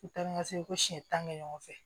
U taa ni ka segin ko siɲɛ tan ni ɲɔgɔn fɛ